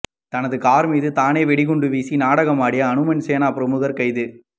தனது கார் மீது தானே வெடிகுண்டு வீசி நாடகமாடிய ஹனுமன் சேனா பிரமுகர் கைது